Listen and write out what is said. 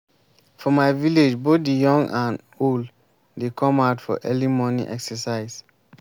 for my village both the young and old dey come out for early morning exercise